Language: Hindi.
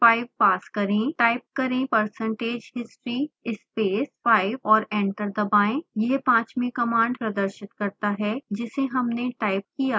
टाइप करें percentage history space 5 और एंटर दबाएं